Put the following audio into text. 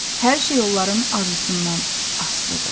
Hər şey onların arzusundan asılıdır.